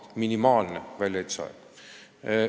See on minimaalne aeg!